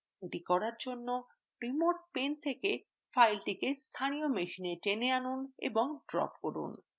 এটি করার জন্য remote pane থেকে file স্থানীয় machine pane আনুন এবং drop করুন